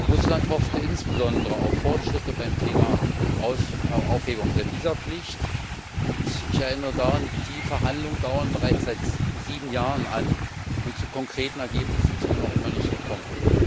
Russland hoffte insbesondere auf Fortschritte beim Thema Aufhebung der Visapflicht, und ich erinnere daran Die Verhandlungen dauern bereits seit sieben Jahren an und zu konkreten Ergebnissen ist man noch immer nicht gekommen.